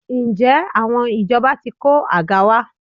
Ǹjẹ́ àwọn ìjọba ti kó àga wá?